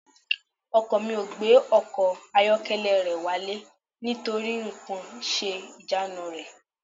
Ọkọ mi ò gbé ọkọ̀ ayọ́kẹ́lẹ́ rẹ̀ wálé nítorí nǹkan ń ṣe ìjánu rẹ̀